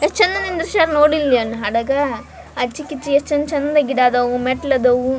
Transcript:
ಯೆಸ್ಟ್ ಚಂದ ದೃಶ್ಯ ಆದವು ನೋಡಿಲ್ಲಿ ಹಾಡಾಗ ಆಚಿ ಕಿಚ್ಚಿ ಎಸ್ಟ್ ಚಂದ್ ಚಂದ ಗಿಡ ಆದವು.